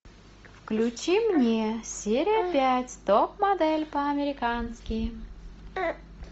включи мне серия пять топ модель по американски